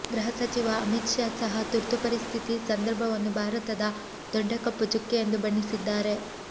ಗೃಹ ಸಚಿವ ಅಮಿತ್ ಷಾ ಸಹ ತುರ್ತು ಪರಿಸ್ಥಿತಿ ಸಂದರ್ಭವನ್ನು ಭಾರತದ ದೊಡ್ಡ ಕಪ್ಪುಚುಕ್ಕೆ ಎಂದು ಬಣ್ಣಿಸಿದ್ದಾರೆ